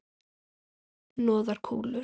Hnoðar kúlur.